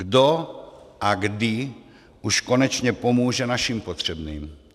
Kdo a kdy už konečně pomůže našim potřebným?